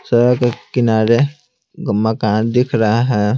सड़क के किनारे मकान दिख रहा है।